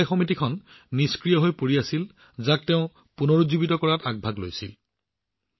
এই সমবায় সংগঠনটো নিষ্ক্ৰিয় হৈ আছিল যাক তেওঁ পুনৰুজ্জীৱিত কৰাৰ প্ৰত্যাহ্বান গ্ৰহণ কৰিছিল